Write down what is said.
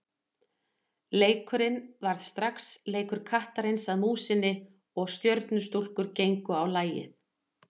Leikurinn varð strax leikur kattarins að músinni og Stjörnustúlkur gengu á lagið.